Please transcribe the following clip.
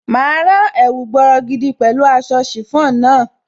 Máa rán ẹ̀wù bọrọgidan pẹ̀lú aṣọ chiffon náà.